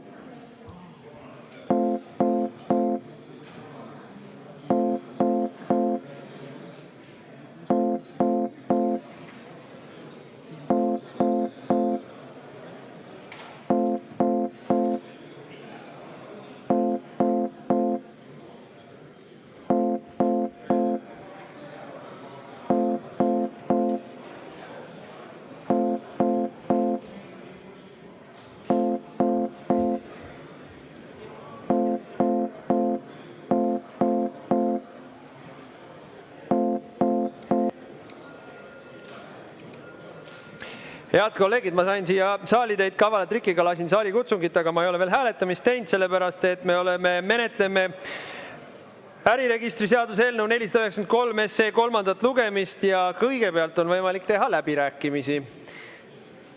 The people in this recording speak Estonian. Ma sain teid siia saali kavala trikiga, lasin saalikutsungit, aga ma ei ole veel hääletamist teinud, sellepärast et me menetleme äriregistri seaduse eelnõu 493 kolmandat lugemist ja kõigepealt on võimalik pidada läbirääkimisi.